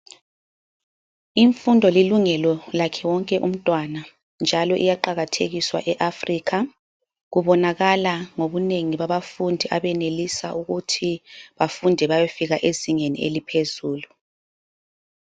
Imfundo lilungelo lakhe wonke umtwana njalo iyaqakathekiswa eAfrica. Kubonakala ngobunengi babafundi abenelisa ukuthi bafunde bayofika ezingeni eliphezulu.